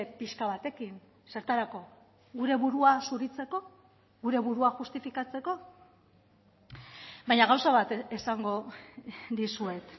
pixka batekin zertarako gure burua zuritzeko gure burua justifikatzeko baina gauza bat esango dizuet